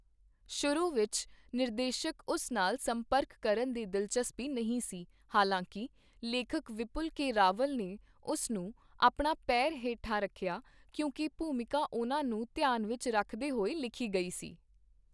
ਸ਼ੁਰੂ ਵਿੱਚ, ਨਿਰਦੇਸ਼ਕ ਉਸ ਨਾਲ ਸੰਪਰਕ ਕਰਨ ਦੀ ਦਿਲਚਸਪੀ ਨਹੀਂ ਸੀ, ਹਾਲਾਂਕਿ ਲੇਖਕ ਵਿਪੁਲ ਕੇ ਰਾਵਲ ਨੇ ਉਸ ਨੂੰ ਆਪਣਾ ਪੈਰ ਹੇਠਾਂ ਰੱਖਿਆ ਕਿਉਂਕਿ ਭੂਮਿਕਾ ਉਹਨਾਂ ਨੂੰ ਧਿਆਨ ਵਿੱਚ ਰੱਖਦੇ ਹੋਏ ਲਿਖੀ ਗਈ ਸੀ।